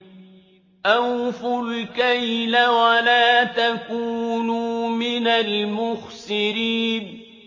۞ أَوْفُوا الْكَيْلَ وَلَا تَكُونُوا مِنَ الْمُخْسِرِينَ